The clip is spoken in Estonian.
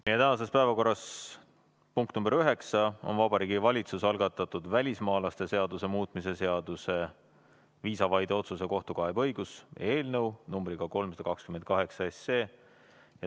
Meie tänases päevakorras punkt nr 9 on Vabariigi Valitsuse algatatud välismaalaste seaduse muutmise seaduse eelnõu numbriga 328.